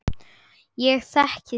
Ég þekki þig